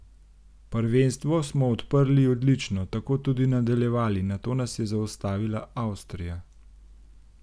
Prvenstvo smo odprli odlično, tako tudi nadaljevali, nato nas je zaustavila Avstrija.